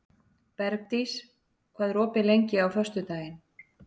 Bergdís, hvað er opið lengi á föstudaginn?